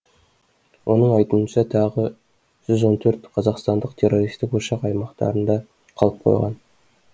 оның айтуынша тағы жүз он төрт қазақстандық террористік ошақ аймақтарында қалып қойған